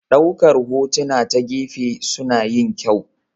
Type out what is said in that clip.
Ɗaukar hotuna ta gefe suna yin kyau.